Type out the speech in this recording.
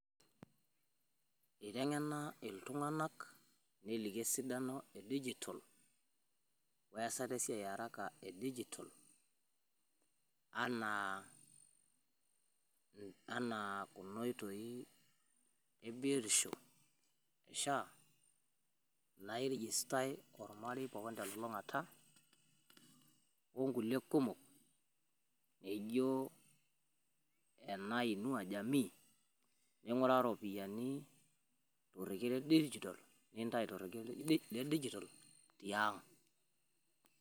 iteng'ena iltunganak neliki esidano edigital easata esiai earaka ebdigital enaa kuno oitoi ebiotisho enaa sha nairegistai olmarei telulung'ata onkulie kumok laijioo inua jamii ning'uraa torekiee ledigital nintayu torekie le digital tiang'